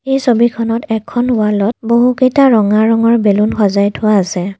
এই ছবিখনত এখন ৱাল ত বহুকেইটা ৰঙা ৰঙৰ বেলুন সজাই থোৱা আছে।